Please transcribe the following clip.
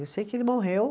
Eu sei que ele morreu.